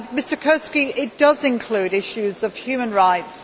Mr Kurski, it does include issues of human rights.